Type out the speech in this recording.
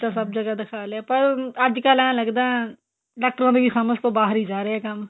ਤਾਂ ਸਭ ਜਗ੍ਹਾ ਦਿਖਾ ਲਿਆ ਪਰ ਅੱਜਕਲ ਇਹ ਲੱਗਦਾ ਡਾਕਟਰਾਂ ਦੀ ਸਮਝ ਤੋਂ ਬਾਹਰ ਈ ਜਾ ਰਿਹਾ ਕੰਮ